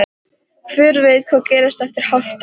Hver veit hvað gerist eftir hálft ár?